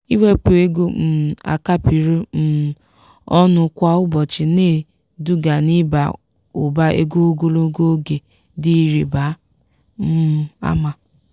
ịwepụ ego um a kapịrị um ọnụ kwa ụbọchị na-eduga n'ịba ụba ego ogologo oge dị ịrịba um ama